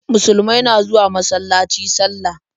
Musulumai na zuwa masalaci sallah.